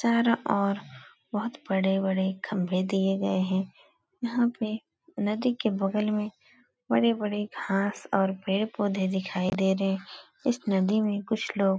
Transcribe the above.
चारों ओर बहुत बड़े बड़े खंभे दिए गए है। यहाँ पे नदी के बगल में बड़े बड़े घास और पेड़ पौधे दिखाई दे रहे हैं। इस नदी में कुछ लोग --